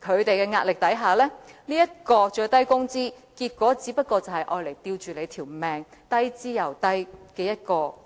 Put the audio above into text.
的壓力下，最低工資只能維持在一個"吊命"、低之又低的水平。